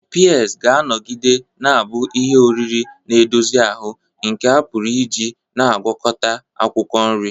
Peas ga-anọgide na-abụ ihe oriri na-edozi ahụ nke a pụrụ iji na ngwakota akwukwo nri.